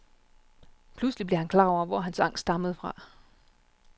Pludselig blev han klar over, hvor hans angst stammede fra.